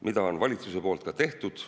Mida on valitsuse poolt ka tehtud.